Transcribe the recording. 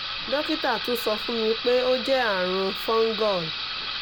dokita tun sọ fun mi pe o jẹ arun fungul